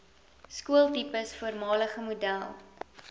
skooltipes voormalige model